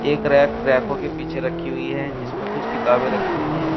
एक रैक रैकों के पीछे रखी हुई है जिसमें कुछ किताबें रखी हुई हैं।